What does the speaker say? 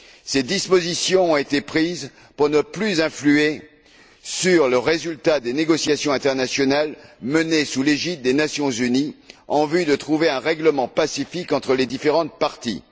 Ces dispositions ont été prises pour ne plus influer sur le résultat des négociations internationales menées sous l'égide des Nations unies en vue de trouver un règlement pacifique entre les différentes parties.